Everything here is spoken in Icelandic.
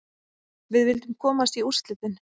Við vildum komast í úrslitin.